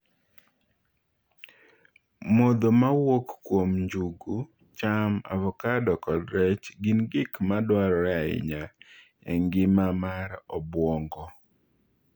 Modho ma wuok kuom njugu, cham, avokado kod rech gin gik ma dwarore ahinya e ngima mar obwongo.